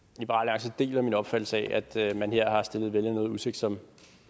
deler min opfattelse af at man her har stillet vælgerne noget i udsigt som